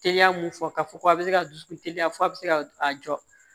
Teliya mun fɔ k'a fɔ ko a bɛ se ka dusukun teliya fɔ a bɛ se ka a jɔ